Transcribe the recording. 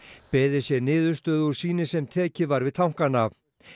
beðið sé niðurstöðu úr sýni sem tekið var við tankana